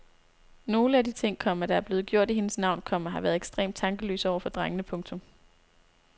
Nogle af de ting, komma der er blevet gjort i hendes navn, komma har været ekstremt tankeløse over for drengene. punktum